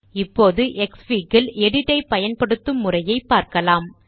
இப்பொழுது க்ஸ்ஃபிக் இல் எடிட் ஐ பயன்படுத்தும் முறையைப் பார்க்கலாம்